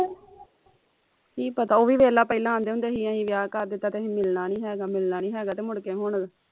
ਕੀ ਪਤਾ ਉਹ ਵੀ ਵੇਖ ਪਹਿਲਾਂ ਆਂਦੇ ਹੁੰਦੇ ਹੀ ਅਹੀ ਵਿਆਹ ਕਰ ਦਿੱਤਾ ਤੇ ਅਹੀ ਮਿਲਣਾ ਨੀ ਹੈਗਾ ਮਿਲਣਾ ਨੀ ਹੈਗਾ ਤੇ ਮੁੜਕੇ ਹੁਣ